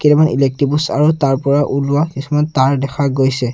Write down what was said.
কেইটামান electric post আৰু তাৰ পৰা ওলোৱা কিছুমান তাঁৰ দেখা গৈছে।